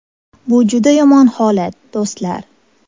Bu juda yomon holat, do‘stlar.